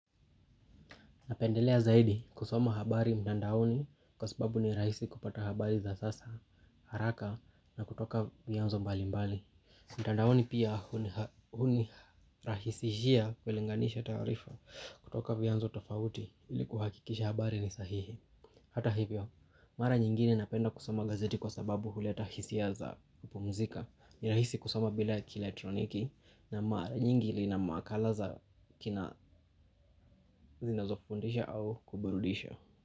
Napendelea zaidi kusoma habari mtandaoni kwa sababu ni rahisi kupata habari za sasa haraka na kutoka vyanzo mbali mbali. Mtandaoni pia hunirahisi kulinganisha taarifa kutoka vyanzo tafauti ili kuhakikisha habari ni sahihi. Hata hivyo, mara nyingine napenda kusoma gazeti kwa sababu huleta hisia za kupumzika ni rahisi kusoma bila kielectroniki na mara nying ina makala za zinazofundisha au kuburudisha.